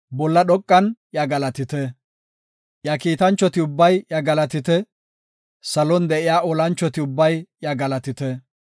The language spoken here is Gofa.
Iya kiitanchoti ubbay iya galatite; Salon de7iya iya olanchoti ubbay iya galatite.